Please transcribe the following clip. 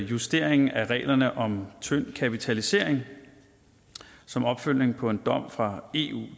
justeringen af reglerne om tynd kapitalisering som opfølgning på en dom fra eu